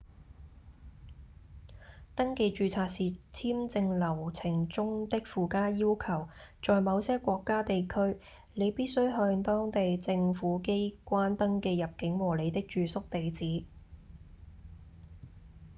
登記註冊是簽證流程中的附加要求在某些國家/地區你必須向當地政府機關登記入境和您的住宿地址